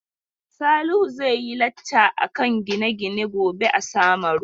Salihu zai yi lacca akan gine-gine gobe a Samaru.